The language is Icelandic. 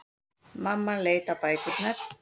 Mamman leit á bækurnar.